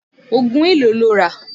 Ògùn èló lo rà?